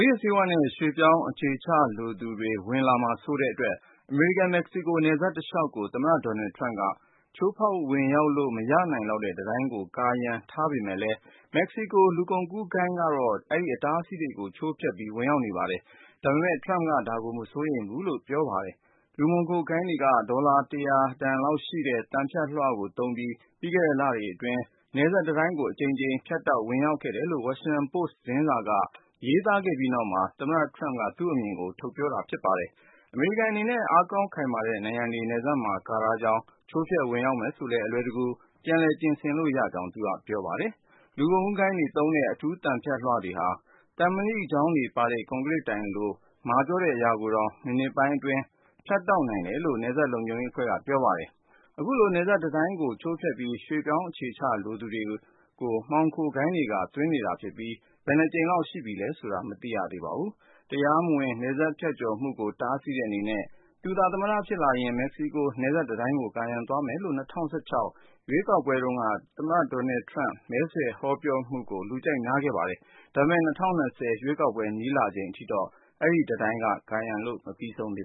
ေးဝါးနဲ့ ရွှေ့ပြောင်းအခြေချလိုသူတွေ ဝင်လာမှာစိုးတဲ့အတွက် အမေရိကန်-မက္ကဆီကို နယ်စပ်တလျှောက်ကို သမ္မတ Donald Trump က ချိုးဖောက်ဝင်လို့ မရနိုင်လောက်တဲ့ တံတိုင်းကို ကာရံထားပေမယ့် မက္ကဆီကို လူကုန်ကူးဂိုဏ်းတွေက အဲဒီ အတားအဆီးတွေကို ချိုးဖျက်ပြီး ဝင်ရောက်နေပါတယ်။ ဒါပေမယ့် Trump က ဒါကို မစိုးရိမ်ဘူးလို့ ပြောပါတယ်။ လူမှောင်ခိုဂိုဏ်းတွေက ဒေါ်လာ ၁၀၀ တန် သံဖြတ်လွှတွေသုံးပြီး ပြီးခဲ့တဲ့လအတွင်း နယ်စပ်တံတိုင်းကို အကြိမ်ကြိမ်ဖြတ်တောက် ဝင်ရောက်ခဲ့တယ်လို့ Washington Post သတင်းစာက ရေးခဲ့ပြီးနောက် သမ္မတ Trump က သူ့အမြင်ကို ထုတ်ပြောလာတာပါ။ အမေရိကန်အနေနဲ့ အားကောင်းခိုင်မာတဲ့ နံရံတွေ နယ်စပ်မှာ ကာထားကြောင်း၊ ချိုးဖျက် ဝင်ရောက်မယ်ဆိုလည်း အလွယ်တကူ ပြန်ပြင်ဆင်လို့ရကြောင်း သူက ပြောပါတယ်။ လူကုန်ကူးဂိုဏ်းတွေသုံးတဲ့ အထူးသံဖြတ်လွှတွေဟာ သံမဏိချောင်းပါတဲ့ ကွန်ကရစ်တိုင်လို မာကြောတဲ့အရာကိုတောင် မိနစ်ပိုင်းအတွင်း ဖြတ်တောက်နိုင်တယ်လို့ နယ်စပ်လုံခြုံရေးတွေက ပြောပါတယ်။ အခုလို နယ်စပ်တံတိုင်းကို ချိုးဖျက်ပြီး ရွှေ့ပြောင်းအခြေချလိုသူတွေကို မှောင်ခိုဂိုဏ်းက သွင်းနေတာဖြစ်ပြီး ဘယ်နှကြိမ်လောက် ချိုးဖျက်ခဲ့ပြီးပြီလဲဆိုတာ မသိရသေးပါဘူး။ တရားမဝင် နယ်စပ်ဖြတ်ကျော်မှုကို တားဆီးတဲ့အနေနဲ့ သူသာ သမ္မတဖြစ်ရင် မက္ကဆီကို နယ်စပ်တံတိုင်းကို ကာရံသွားမယ်လို့ ၂၀၁၆ ရွေးကောက်ပွဲတုန်းက Donald Trump မဲဆွယ်ဟောပြောမှုကို လူကြိုက်များခဲ့ပါတယ်။ ဒါပေမယ့် ၂၀၂၀ ရွေးကောက်ပွဲ နီးလာချိန်အထိ Trump ရဲ့ နယ်စပ်တံတိုင်းကာရံမှု မပြီးဆုံးသေ